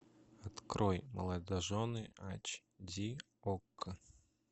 открой молодожены айч ди окко